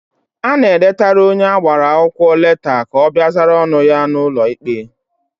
Ana edetara onye agbara akwụkwọ leta ka ọ bịa zara ọnụ ya n'ụlọ ikpe.